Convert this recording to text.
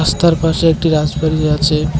রাস্তার পাশে একটি রাজবাড়ী আছে।